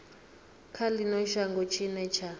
kha ino shango tshine tsha